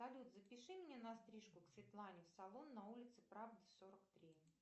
салют запиши меня на стрижку к светлане в салон на улице правды сорок три